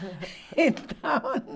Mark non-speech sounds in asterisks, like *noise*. *laughs* transcrição normal - Então...